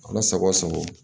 Ala sago sago